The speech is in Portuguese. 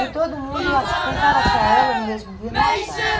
E todo mundo, acho que tentaram achar ela, no mesmo dia não acharam.